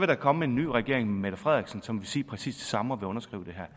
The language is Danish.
der komme en ny regering med mette frederiksen som ville sige præcis det samme og underskrive det her